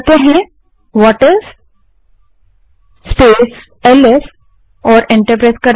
अब whatis space LS type करें और एंटर दबायें